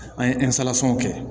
An ye kɛ